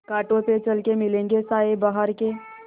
कांटों पे चल के मिलेंगे साये बहार के